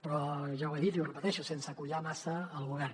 però ja ho he dit i ho repeteixo sense collar massa el govern